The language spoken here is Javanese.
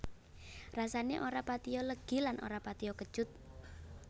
Rasané ora patiya legi lan ora patiya kecut